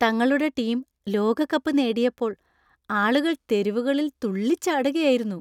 തങ്ങളുടെ ടീം ലോകകപ്പ് നേടിയപ്പോൾ ആളുകൾ തെരുവുകളിൽ തുള്ളിച്ചാടുകയായിരുന്നു.